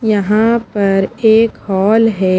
यहां पर एक हॉल है।